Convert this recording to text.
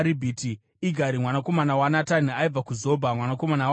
Igari mwanakomana waNatani aibva kuZobha, mwanakomana waHagiri,